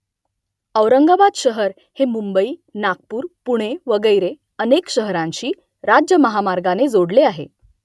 औरंगाबाद शहर हे मुंबई नागपूर पुणे वगैरे अनेक शहरांशी राज्य महामार्गाने जोडलेले आहे